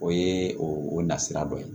O ye o nasira dɔ ye